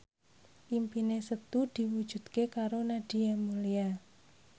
impine Setu diwujudke karo Nadia Mulya